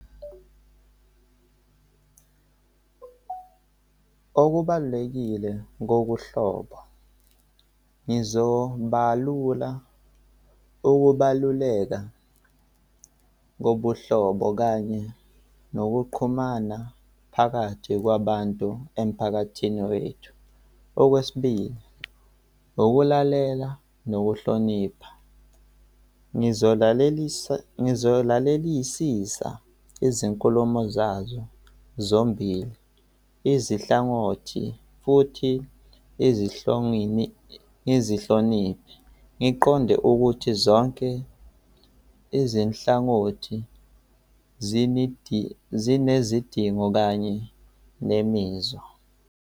Okubalulekile ngobuhlobo ngizobalula ukubaluleka kobuhlobo kanye nokuqhumana phakathi kwabantu emphakathini wethu. Okwesibili, ukulalela nokuhlonipha. Ngizolalelisa, ngizolalelisisa izinkulumo zazo zombili izinhlangothi futhi izihloni, izihloniphi, ngiqonde ukuthi zonke izinhlangothi zinezidingo kanye nemizwa.